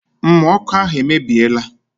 Mmụ ọkụ ahụ emebiela